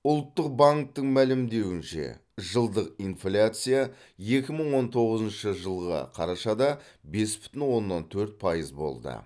ұлттық банктің мәлімдеуінше жылдық инфляция екі мың он тоғызыншы жылғы қарашада бес бүтін оннан төрт пайыз болды